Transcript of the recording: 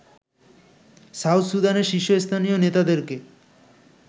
south সুদানের শীর্ষস্থানীয় নেতাদেরকে